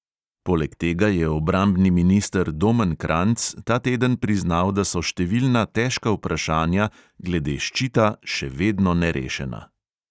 Poleg tega je obrambni minister domen kranjc ta teden priznal, da so številna težka vprašanja glede ščita še vedno nerešena.